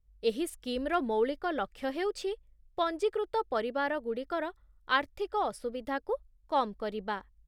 ଏହି ସ୍କିମ୍‌ର ମୌଳିକ ଲକ୍ଷ୍ୟ ହେଉଛି ପଞ୍ଜୀକୃତ ପରିବାରଗୁଡ଼ିକର ଆର୍ଥିକ ଅସୁବିଧାକୁ କମ୍ କରିବା